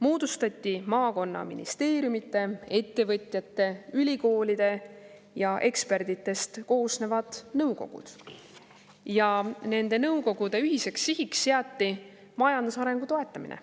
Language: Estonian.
Moodustati maakondade, ministeeriumide ja ülikoolide esindajatest ning ettevõtjatest ja ekspertidest koosnevad nõukogud ja nende nõukogude ühiseks sihiks seati majandusarengu toetamine.